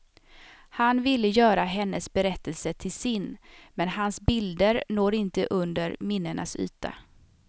Han ville göra hennes berättelse till sin, men hans bilder når inte under minnenas yta.